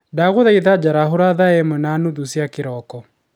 ndaguthaitha njarahũra thaa imwe na nuthu cia kĩroko?